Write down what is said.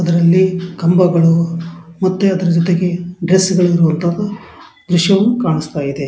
ಅದರಲ್ಲಿ ಕಂಬಗಳು ಮತ್ತೆಅದರ ಜೊತೆಗೆ ಡ್ರೆಸ್ಸ್ಗಳು ಇರುವಂತಹ ದೃಶ್ಯವು ಕಾಣಿಸ್ತಾಯಿದೆ.